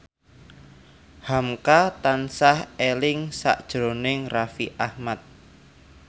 hamka tansah eling sakjroning Raffi Ahmad